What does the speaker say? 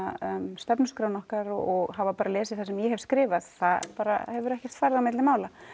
stefnuskrána okkar og hafa lesið það sem ég hef skrifað það hefur ekkert farið á milli mála